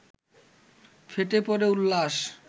ফেটে পড়ে উল্লাস